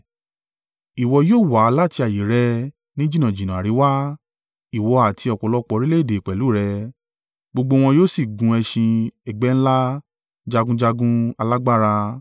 Ìwọ yóò wá láti ààyè rẹ ní jìnnàjìnnà àríwá, ìwọ àti ọ̀pọ̀lọpọ̀ orílẹ̀-èdè pẹ̀lú rẹ, gbogbo wọn yóò sì gun ẹṣin ẹgbẹ́ ńlá, jagunjagun alágbára.